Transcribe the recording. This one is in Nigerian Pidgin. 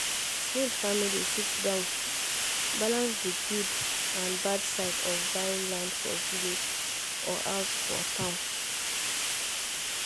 smith family sit down balance the good um and bad side of buying land for village or house for town.